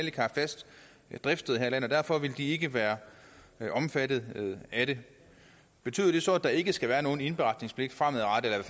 ikke har fast driftssted her i landet og derfor vil de ikke være omfattet af det betyder det så at der ikke skal være nogen indberetningspligt